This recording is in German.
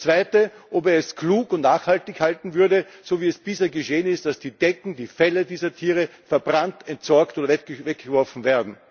Das Zweite ist, ob er es für klug und nachhaltig halten würde, so wie es bisher geschehen ist, dass die Decken, die Felle dieser Tiere verbrannt, entsorgt und weggeworfen werden.